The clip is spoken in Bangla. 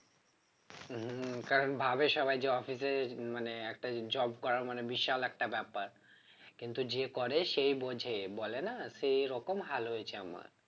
হম কারণ ভাবে সবাই মানে একটা job করা মানে বিশাল একটা ব্যাপার কিন্তু যে করে সেই বোঝে বলেনা সেই রকম হাল হয়েছে আমার